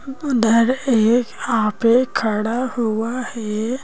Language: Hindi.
उधर एक यहां पे खड़ा हुआ है।